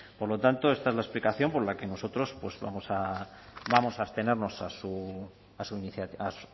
por lo tanto esta es la explicación por la que nosotros vamos a vamos a abstenernos a